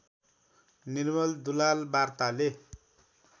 निर्मल दुलाल वार्ताले